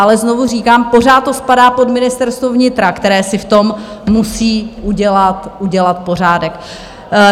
Ale znovu říkám, pořád to spadá pod Ministerstvo vnitra, které si v tom musí udělat pořádek.